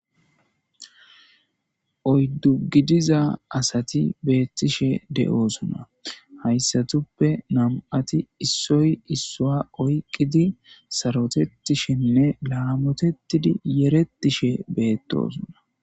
Oyddu gidiza asati beettishe de'oosuna hayssatuppe nam'ati issoy issua oyqqidi sarotettishenne laamotettidi yerettishe beettosuna.